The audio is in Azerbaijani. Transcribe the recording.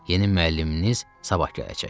Yeni müəlliminiz sabah gələcək.